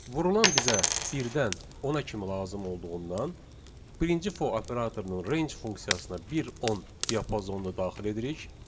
Vurulan bizə birdən 10-a kimi lazım olduğundan birinci for operatorunun range funksiyasına 1-10 diapazonunu daxil edirik.